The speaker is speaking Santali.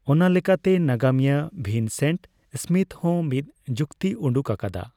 ᱚᱱᱟ ᱞᱮᱠᱟᱛᱮ ᱱᱟᱜᱟᱢᱤᱭᱟᱹ ᱣᱤᱱᱥᱮᱱᱴ ᱥᱢᱤᱛᱷ ᱦᱚᱸ ᱢᱤᱫ ᱡᱩᱠᱛᱤ ᱩᱰᱩᱠ ᱟᱠᱟᱫᱟ ᱾